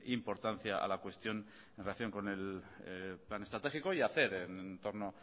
importancia a la cuestión en relación con el plan estratégico y hacer en torno